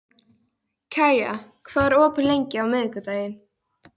Kaía, hvað er opið lengi á miðvikudaginn?